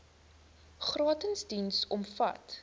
gratis diens omvat